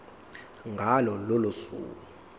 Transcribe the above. ngalo lolo suku